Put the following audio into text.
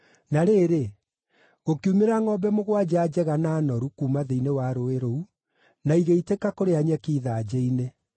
na rĩrĩ, gũkiumĩra ngʼombe mũgwanja njega na noru kuuma thĩinĩ wa rũũĩ rũu, na igĩitĩka kũrĩa nyeki ithanjĩ-inĩ.